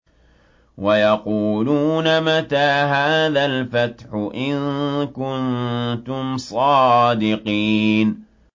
وَيَقُولُونَ مَتَىٰ هَٰذَا الْفَتْحُ إِن كُنتُمْ صَادِقِينَ